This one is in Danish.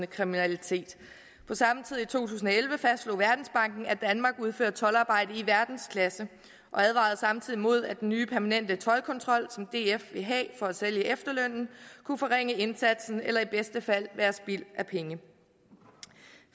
kriminalitet på samme tid i to tusind og elleve fastslog verdensbanken at danmark udfører toldarbejde i verdensklasse og advarede samtidig mod at den nye permanente toldkontrol som df ville have for at sælge efterlønnen kunne forringe indsatsen eller i bedste fald være spild af penge